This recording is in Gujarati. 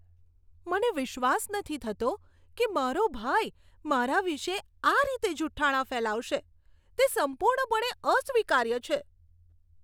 મને વિશ્વાસ નથી થતો કે મારો ભાઈ, મારા વિશે આ રીતે જુઠાણા ફેલાવશે. તે સંપૂર્ણપણે અસ્વીકાર્ય છે.